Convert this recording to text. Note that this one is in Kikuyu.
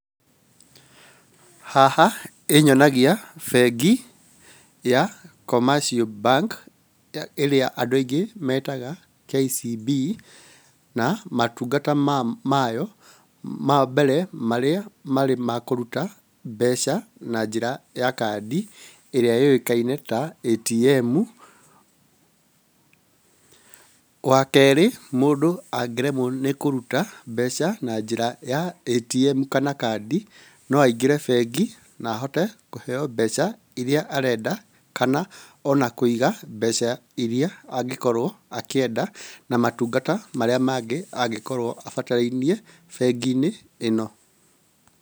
Haha ĩnyonagia bengi ya commercial bank ĩrĩa andũ aingĩ metaga KCB, na matungata mayo mambere marĩa marĩ ma kũruta mbeca na njĩra ya kadi ĩrĩa yũĩkaine ta ATM. Wakerĩ mũndũ angĩremwo nĩ kũruta mbeca na njĩra ya ATM kana kadi, no aingĩre bengi na ahote kũheo mbeca iria arenda kana ona kũiga mbeca iria angĩkorwo akĩenda na matungata maria mangĩ angĩkorwo abatarainie bengi-inĩ ĩno.